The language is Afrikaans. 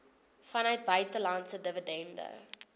vanuit buitelandse dividende